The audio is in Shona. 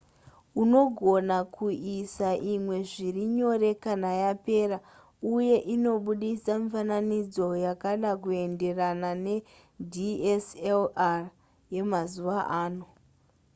unogona kuisa imwe zviri nyore kana yapera uye inobudisa mifananidzo yakada kuenderana nedslr yemazuva ano